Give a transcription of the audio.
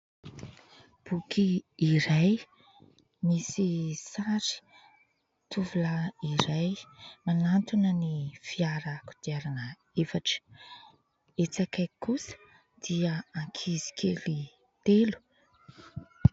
Boky iray misy sary tovolahy iray manantona ny fiarakodiarana efatra. Etsy akaiky kosa dia ankizy kely telo.